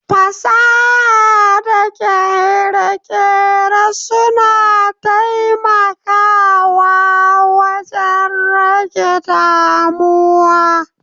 Fasaha da kere-kere suna taimakawa wajen rage damuwa